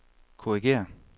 korrigér